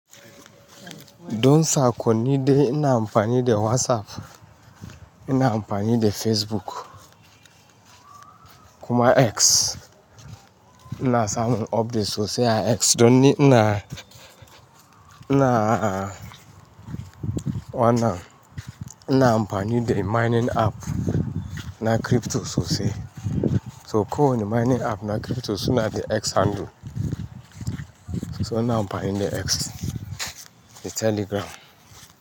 Don saƙon ni de ina amfani da WhatsApp, ina amfani da Facebook, kuma X. Ina samun updates sosai a X don ni ina, ina, wana ina amfani da mining app na crypto sosai. So ko wani mining app na crypto suna da X handle. So ina amfani da X da Telegram.